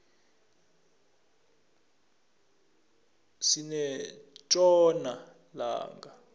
sinetjona langa